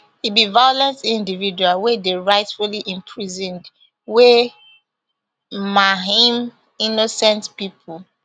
e be violent individual wey dey rightfully imprisoned wey maim innocent people